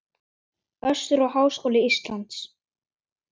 Össur og Háskóli Ísland.